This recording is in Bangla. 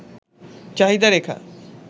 চাহিদা রেখা